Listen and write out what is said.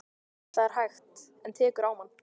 Það er hægt. en tekur á mann.